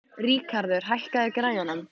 Ríkarður, hækkaðu í græjunum.